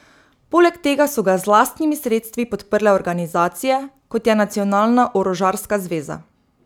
Poleg tega so ga z lastnimi sredstvi podprle organizacije, kot je Nacionalna orožarska zveza.